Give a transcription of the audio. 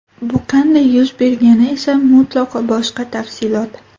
Bu qanday yuz bergani esa mutlaqo boshqa tafsilot.